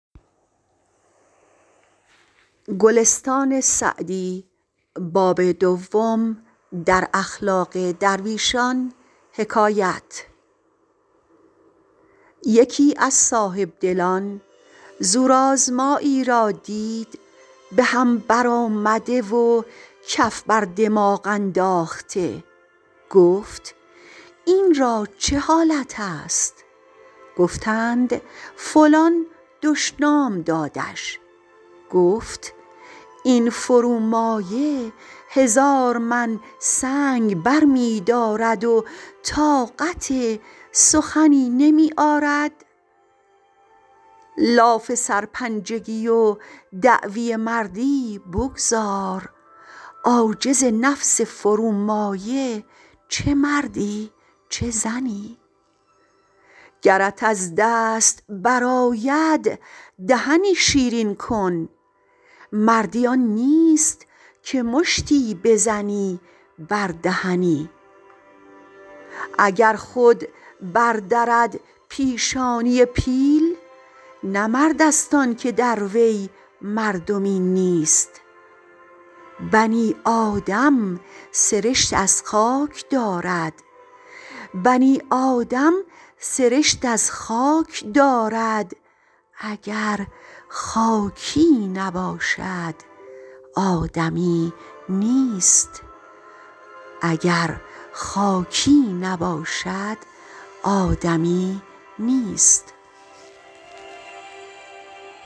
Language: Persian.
یکی از صاحبدلان زورآزمایی را دید به هم برآمده و کف بر دماغ انداخته گفت این را چه حالت است گفتند فلان دشنام دادش گفت این فرومایه هزار من سنگ برمی دارد و طاقت سخنی نمی آرد لاف سرپنجگی و دعوی مردی بگذار عاجز نفس فرومایه چه مردی چه زنی گرت از دست برآید دهنی شیرین کن مردی آن نیست که مشتی بزنی بر دهنی اگر خود بر درد پیشانی پیل نه مرد است آن که در وی مردمی نیست بنی آدم سرشت از خاک دارد اگر خاکی نباشد آدمی نیست